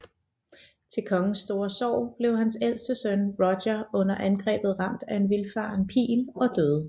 Til kongens store sorg blev hans ældste søn Roger under angrebet ramt af en vildfaren pil og døde